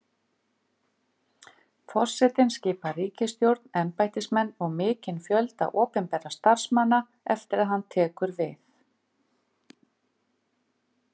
Forsetinn skipar ríkisstjórn, embættismenn og mikinn fjölda opinberra starfsmanna eftir að hann tekur við.